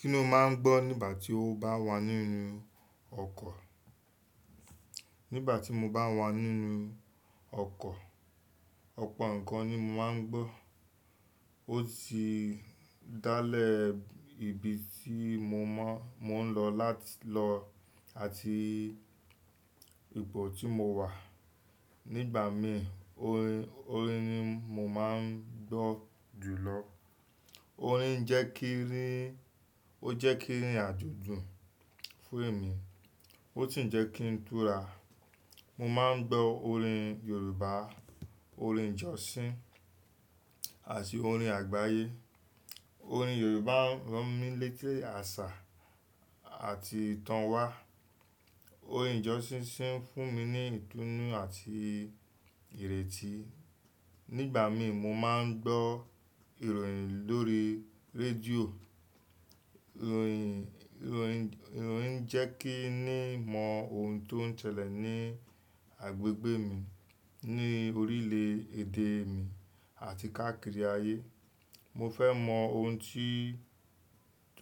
Kí ni o máà ń gbọ́ nígbà tí o bá wà nínú ọkọ̀? Nígbà tí mo bá wà nínú ọkọ̀, ọ̀pọ̀ nǹkan ni mo máa ń gbọ́. Ó sì dá lẹ̀ ibi tí mo mọ́, mò ń lọ láti lọ àti ipo tí mo wà. Nígbà mí, orin, orin ni mo máa ń gbọ́ jùlọ. Orin jẹ́ kí ń rìn, ó jẹ́ kí ń irìn àjò dun fún èmi, ó sì ń jẹ́ kí n túra. Mo máa ń gbọ́ orin Yorùbá, orin ìjọsìn àti orin àgbáyé. Orin Yorùbá ń ràn mí létí àṣà àti ìtàn wa. Orin ìjọsìn sì ń fún mi ní ìtúnu àti ìrètí. Nígbà mí, mo máa ń gbọ́ ìròyìn lórí rédíò. Ìròyìn, ìròyìn, ìròyìn ń jẹ́ kí ní mọ ohun tó ń ṣẹlẹ̀ ní agbègbè mi, ní orílẹ̀ èdè mi àti káàkiri ayé. Mo fẹ́ mọ ohun tí,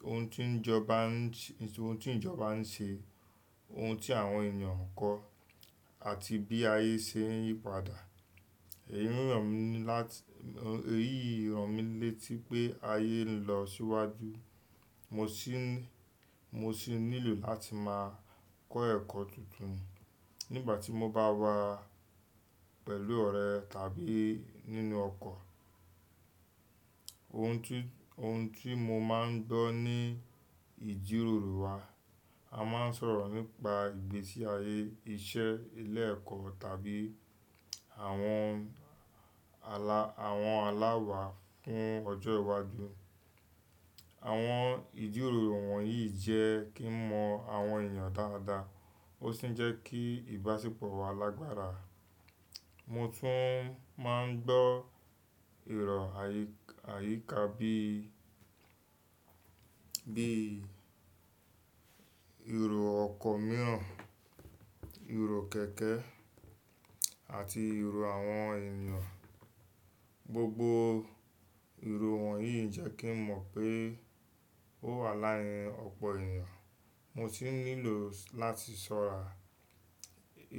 ohun tí jọba ń ṣẹ, ohun tí ìjọba ń ṣe, ohun tí àwọn èeyàn kọ́ àti bí ayé ṣe ń yípadà. Èyí ń ràn mí látí, èyí ń ràn mí létí pé ayé ń lọ síwájú. Mo sì ń, mo sì nílò láti máa kọ́ ẹ̀kọ́ tuntun. Nígbà tí mo bá wà pẹ̀lú ọ̀rẹ́ tàbí nínú ọkọ̀, ohun tí, ohun tí mo máa ń gbọ́ ni ìjíròrò wa. A máa ń sọ̀rọ̀ nípa ìgbésí ayé, iṣẹ́, ilé ẹ̀kọ́ tàbí àwọn ala, àwọn aláwa fún ọjọ́ iwájú. Àwọn ìjíròrò wọ̀nyí ń jẹ́ kí n mọ àwọn èeyàn dáadáa, ó sì ń jẹ́ kí ìbáṣepọ̀ wa lágbára. Mo tún máa ń gbọ́ ìró ayíká bí, bí ìró ọkọ̀ mìíràn, ìró kẹ̀kẹ́ àti ìró àwọn ènìyàn. Gbogbo ìró wọ̀nyí ń jẹ́ kí n mọ̀ pé ó wà láàrín ọ̀pọ̀ ènìyàn. Mo sì nílò láti sọ̀ra.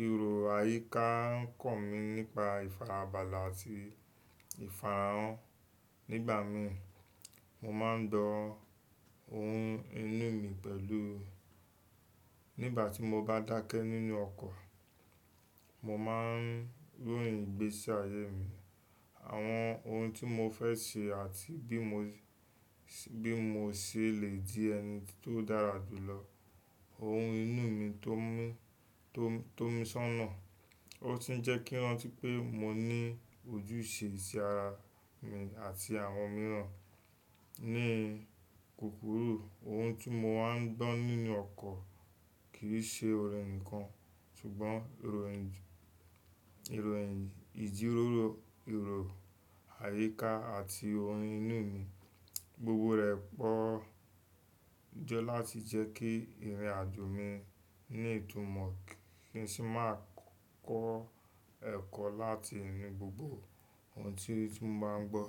Ìró ayíká ń kọ̀ mí nípa ìfarabalẹ̀ àti ìfarahàn. Nígbà mí, mo máa ń gbọ́ ohun inú mi pẹ̀lú. Nígbà tí mo bá dákẹ́ nínú ọkọ̀, mo máa ń ròyìn ìgbésí ayé mi, àwọn ohun tí mo fẹ́ ṣe àti bí mo ṣè, bí mo ṣe le di ẹni tó dára jùlọ. Ohun inú mi tó mí, tó mi sọ́nà. Ó sì ń jẹ́ kí i rántí pé mo ní ojúṣe sí ara mi àti àwọn mìíràn. Ní kukuru ohun tí mo máa ń gbọ́ nínú ọkọ̀ kì í ṣe orin nìkan, ṣùgbọ́n ìròyìn, ìjíròrò, ìró ayíká àti ohun inú mi. Gbogbo rẹ̀ pọ̀ jẹ láti jẹ́ kí ìrìn àjò mi ní ìtumọ̀ kí n sì máa kọ́ ẹ̀kọ́ láti inú gbogbo ohun tí mo bá ń gbọ́.